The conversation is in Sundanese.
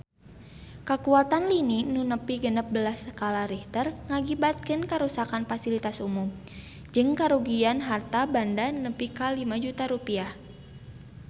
Kakuatan lini nu nepi genep belas skala Richter ngakibatkeun karuksakan pasilitas umum jeung karugian harta banda nepi ka 5 juta rupiah